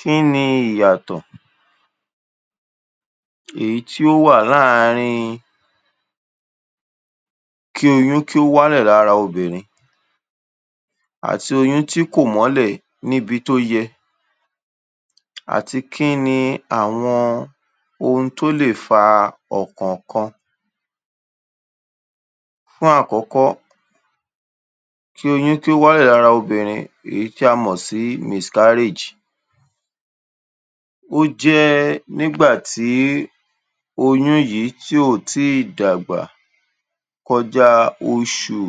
Kínni ìyàtọ̀ èyí tí ó wà láàárínb kí oyún kí ó wálẹ̀ lára obìnrin àti oyún tí kò mọ́lẹ̀ níbi tó yẹ àti kínni àwọn ènìyàn ohun tó lè fa ọ̀kọ̀ọ̀kan? Fún àkọ́kọ́, kí oyún kí ó wálẹ̀ lára obìnrin èyí ti a mọ̀ sí mìskáríèj, ó jẹ́ẹ́ nígbà tí oyún yìí tí ò tíì dàgbà kọjáa oṣù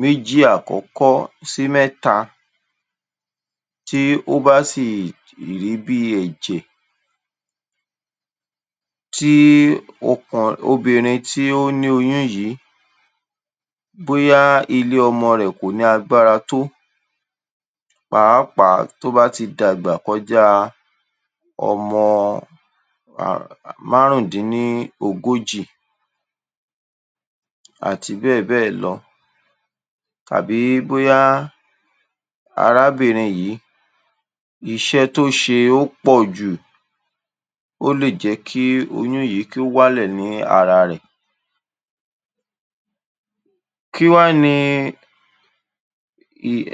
méjì àkọ́kọ́ sí mẹ́ta, tí ó bá sì rí bíi ẹ̀jẹ̀ tí ó kan, obìnrin tí ó ní oyún yìí, bóyá ilé ọmọ rẹ̀ kò lágbára tó, pàápàá tó bá ti dàgbà kọjáa ọmọ um márùn-ún-dín-ní-ogójì àti bẹ́ẹ̀ bẹ́ẹ̀ lọ. Tàbí bóyá arábìnrin yìí, iṣẹ́ tó ṣe ó pọ̀jù, ó lè jẹ́ kí oyún yìí kí ó wálẹ̀ ní ara rẹ̀. Kí wá ni um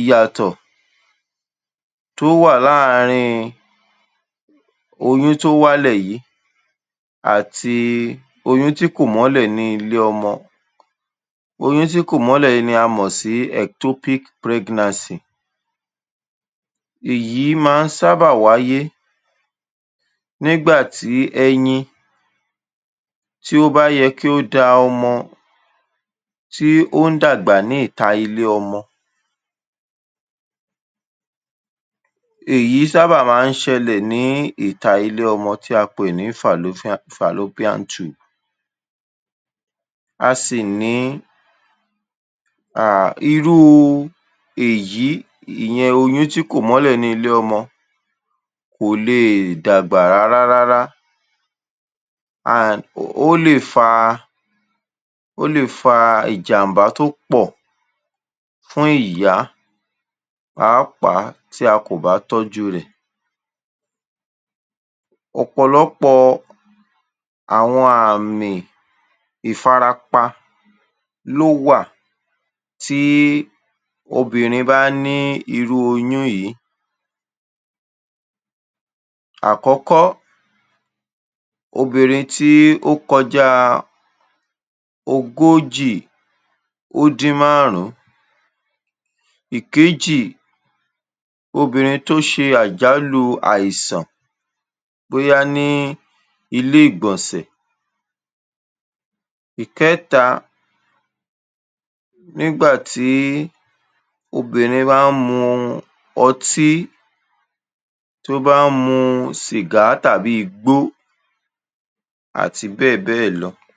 ìyàtọ̀ tó wà láàárín oyún tó wálẹ̀ yìí àti oyún tí kò mọ́lẹ̀ ní ilé ọmọ? Oyún tí kò mọ́lẹ̀ yìí ni a mọ̀ sí ẹ̀któpík prẹ́gńansì. Èyí má ń sábà wáyé nígbà tí ẹyin tí ó bá yẹ kí ó da ọmọ tí ó ń dàgbà ní ìta ilé ọmọ. Èyí sáábà má ń ṣẹlẹ̀ ní ìta ilé ọmọ tí a pè ní fàlópían-tùb. A sì ní um irú èyí, ìyẹn oyún tí kò mọ́lẹ̀ ní ilé ọmọ kò leè dàgbà rárárárá. um Ó lè faa, Ó lè faa tó pọ̀ fún ìyá pàápàá tí a kò bá tọ́júu rẹ̀. Ọ̀pọ̀lọpọ̀ àwọn àmìn ìfarapa ló wà tíí obìnrin bá níí irú oyún yìí. Àkọ́kọ́, obìnrin tí ó kọjáa ogójì ó dín márùn-ún. Ìkéjì, obìnrin tó ṣe àjálù àìsàn, bóyá ní iléègbọ̀nsẹ̀. Ìkẹ́ta, obìnrin bá ń mu ọtí, tó bá ń mu sìgá tàbí igbó àti bẹ́ẹ̀ bẹ́ẹ̀ lọ.